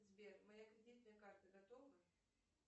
сбер моя кредитная карта готова